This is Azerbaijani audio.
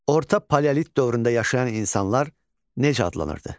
Orta paleolit dövründə yaşayan insanlar necə adlanırdı?